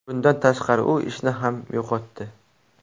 Bundan tashqari u ishni ham yo‘qotdi.